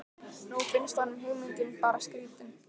Nú finnst honum hugmyndin bara skrýtin.